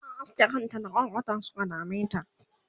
ta aske kanta da kwarkwata Suka dameta